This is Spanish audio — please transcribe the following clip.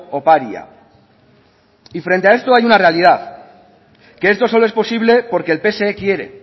oparia y frente a esto hay una realidad que esto solo es posible porque el pse quiere